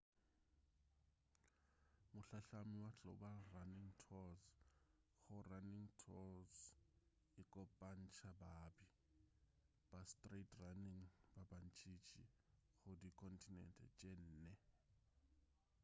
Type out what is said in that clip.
mohlahlami wa global running tours go running tours e kopantša baabi ba sightrunning ba bantšintši go dikontinente tše nne